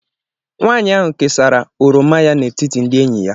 Nwanyị ahụ kesara oroma ya n'etiti ndị enyi ya